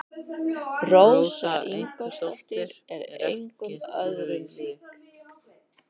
Rósa Ingólfsdóttir er engum öðrum lík.